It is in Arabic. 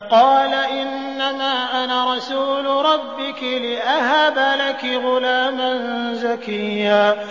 قَالَ إِنَّمَا أَنَا رَسُولُ رَبِّكِ لِأَهَبَ لَكِ غُلَامًا زَكِيًّا